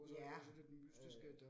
Ja, øh